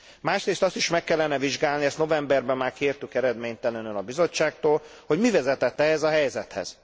Másrészt azt is meg kellene vizsgálni ezt novemberben már kértük, eredménytelenül, a Bizottságtól hogy mi vezetett ehhez a helyzethez.